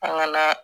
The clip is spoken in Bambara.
An ŋana